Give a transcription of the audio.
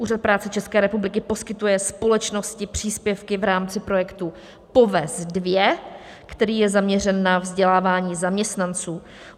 Úřad práce České republiky poskytuje společnosti příspěvky v rámci projektu POVEZ II, který je zaměřen na vzdělávání zaměstnanců.